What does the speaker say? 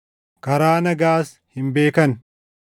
karaa nagaas hin beekan.” + 3:17 \+xt Isa 59:7,8\+xt*